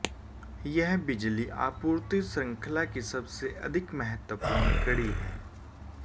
यह बिजली आपूर्ति श्रृंखला की सबसे अधिक महत्वपूर्ण कड़ी है